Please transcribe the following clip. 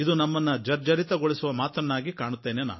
ಇದು ನಮ್ಮನ್ನು ಜರ್ಜರಿತ ಗೊಳಿಸುವ ಮಾತು ಅಂತ ನನಗನ್ನಿಸುತ್ತೆ